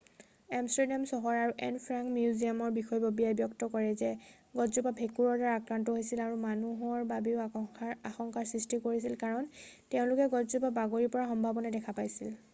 Amsterdam চহৰ আৰু Anne Frank মিউজিয়ামৰ বিষয়ববীয়াই ব্যক্ত কৰে যে গছজোপা ভেঁকুৰৰ দ্বাৰা আক্ৰান্ত হৈছিল আৰু মানুহৰ বাবেও আশংকাৰ সৃষ্টি কৰিছিল কাৰণ তেওঁলোকে গছজোপা বাগৰি পৰাৰ সম্ভবনাই দেখা পাইছিল